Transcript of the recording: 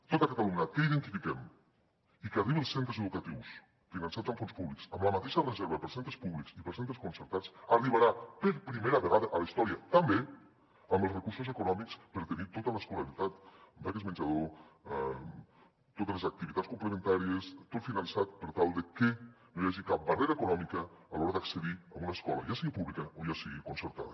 tot aquest alumnat que identifiquem i que arriba als centres educatius finançats amb fons públics amb la mateixa reserva per centres públics i per centres concertats arribarà per primera vegada a la història també amb els recursos econòmics per tenir tota l’escolaritat beques menjador totes les activitats complementàries tot finançat per tal de que no hi hagi cap barrera econòmica a l’hora d’accedir a una escola ja sigui pública o ja sigui concertada